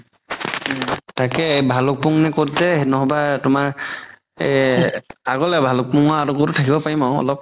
তাকেই ভালুক্পুনং নে ক'ত যে ন'হবা তুমাৰ এই আগলে ভালুক্পুনংৰ আগত থাকিব পাৰিম আৰু অলপ